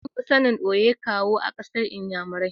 An fi sanin "Owe Kawu" a kasan nnyamurai.